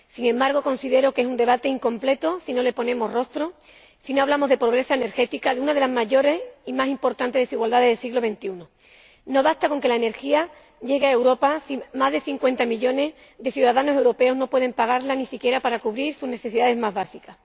Sin embargo, considero que es un debate incompleto si no le ponemos rostro, si no hablamos de pobreza energética, de una de las mayores y más importantes desigualdades del siglo XXI. No basta con que la energía llegue a Europa si más de 50 millones de ciudadanos europeos no pueden pagarla, ni siquiera para cubrir sus necesidades más básicas.